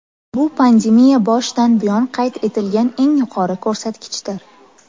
Bu pandemiya boshidan buyon qayd etilgan eng yuqori ko‘rsatkichdir.